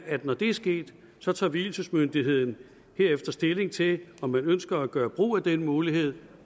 at når det er sket tager tager vielsesmyndigheden derefter stilling til om man ønsker at gøre brug af den mulighed